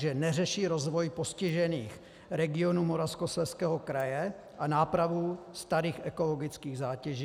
2. neřeší rozvoj postižených regionů Moravskoslezského kraje a nápravu starých ekologických zátěží;